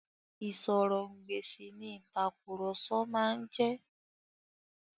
Ìsọ̀rọ̀-ǹ-gbèsì ni ìtàkurọ̀sọ máa ń jẹ́.